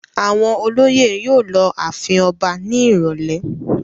Àwọn olóyè yóò lọ ààfin ọba ní ìrọ́lẹ́.